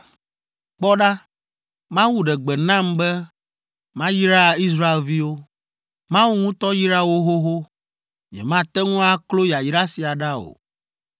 Kpɔ ɖa, Mawu ɖe gbe nam be mayra Israelviwo. Mawu ŋutɔ yra wo xoxo, nyemate ŋu aklo yayra sia ɖa o!